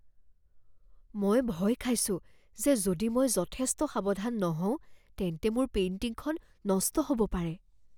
মই ভয় খাইছো যে যদি মই যথেষ্ট সাৱধান নহওঁ তেন্তে মোৰ পেইণ্টিংখন নষ্ট হ'ব পাৰে।